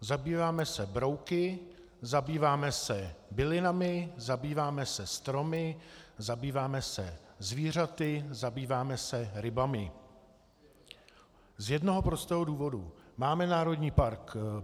Zabýváme se brouky, zabýváme se bylinami, zabýváme se stromy, zabýváme se zvířaty, zabýváme se rybami z jednoho prostého důvodu: máme Národní park